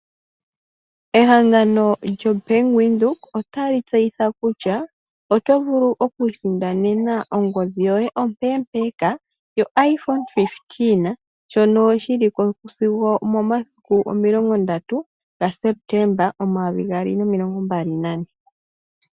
Ehangano lyo Bank Windhoek ota li tseyitha kutya oto vulu oku isindanena ongodhi yoye ompeempeeka, yo iphone 15, shono shi li ko sigo omomasiku 30 ga sepetemba 2024.